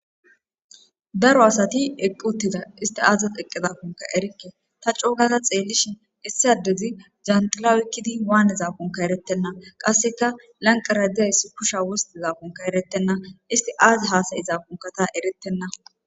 Daro asti eqqi uttida . Estti aazas eqidakonkka erikke . Ta coogada xeelishin issi addezi yanxilla oyqidi waanizakonkka eretenna. Qassikka lanqqera dizaysi kushiya wostizaakonkka ereetenna. Estti aaza hasayzaako ta ereetena.